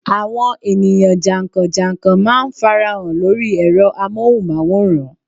Àwọn ènìyàn jànkàn jànkàn má a nfarahàn lórí ẹ̀rọ amóhùnmáwòrán